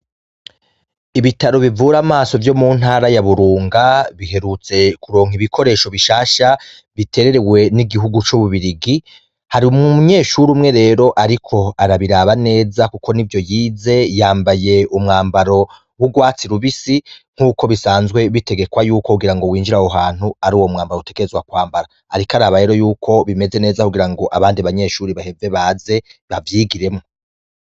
Ibitaro bivura amaso vyo mu ntara ya burunga biherutse kuronka ibikoresho bishasha bitererewe n'igihugu c'ububirigi hari umunyeshuri umwe rero, ariko arabiraba neza, kuko ni vyo yize yambaye umwambaro w'urwatsi rubisi nk'uko bisanzwe bitegekwa yuko kugira ngo winjira ahohantu ari uwo mwambara utegerezwa kwambara, ariko araba rero yuko bimeze neza kugira ngo abandi banyeshuri baheze baze bavyigiremwo.